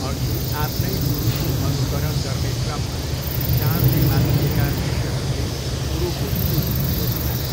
अघि आफ्नै गुरुको अनुकरण गर्ने क्रममा जाँडले मात्तिएका शिष्यहरूले कुरोको चुरो बुझिहाले।